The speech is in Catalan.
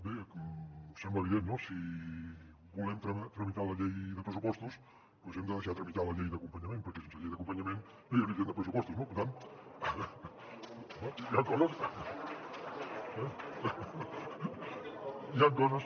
bé sembla evident no si volem tramitar la llei de pressupostos doncs hem de deixar tramitar la llei d’acompanyament perquè sense llei d’acompanyament no hi hauria llei de pressupostos no per tant home hi han coses